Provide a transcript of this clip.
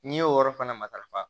N'i y'o yɔrɔ fana matarafa